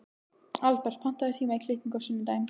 Albert, pantaðu tíma í klippingu á sunnudaginn.